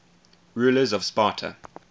rulers of sparta